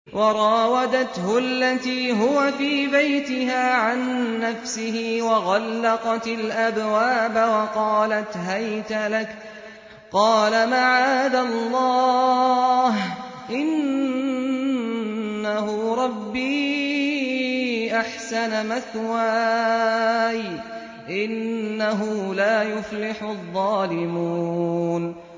وَرَاوَدَتْهُ الَّتِي هُوَ فِي بَيْتِهَا عَن نَّفْسِهِ وَغَلَّقَتِ الْأَبْوَابَ وَقَالَتْ هَيْتَ لَكَ ۚ قَالَ مَعَاذَ اللَّهِ ۖ إِنَّهُ رَبِّي أَحْسَنَ مَثْوَايَ ۖ إِنَّهُ لَا يُفْلِحُ الظَّالِمُونَ